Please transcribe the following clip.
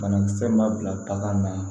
Banakisɛ ma bila bagan na